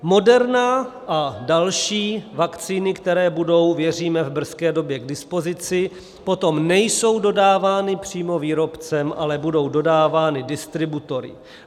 Moderna a další vakcíny, které budou, věříme, v brzké době k dispozici, potom nejsou dodávány přímo výrobcem, ale budou dodávány distributory.